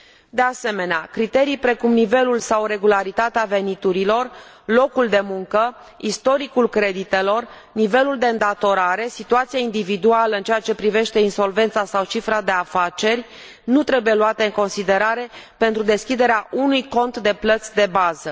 De asemenea, criterii precum nivelul sau regularitatea veniturilor, locul de muncă, istoricul creditelor, nivelul de îndatorare, situația individuală în ceea ce privește insolvența sau cifra de afaceri nu trebuie luate în considerare pentru deschiderea unui cont de plăți de bază.